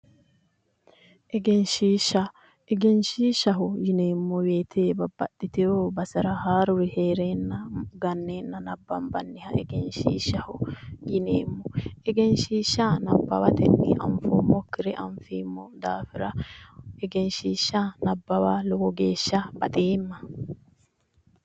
Egenshiishsha egenshiishshaho yineemmo woyiite babbaxxiteyo basera haaruri heereenna ganneenna nabbanbanniha egenshiishshaho yineemmo egenshiishsha nabbawatenni anfoommokkiha anfeemmo daafira egenshiishsha nabbawa lowo geeshsha baxeemma